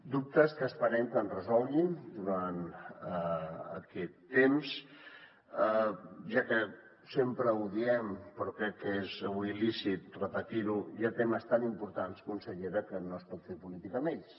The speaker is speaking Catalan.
dubtes que esperem que ens resolguin durant aquest temps ja que sempre ho diem però crec que és avui lícit repetir ho hi ha temes tan importants consellera que no es pot fer política amb ells